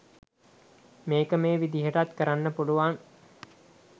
මේක මේ විදිහටත් කරන්න පුළුවන්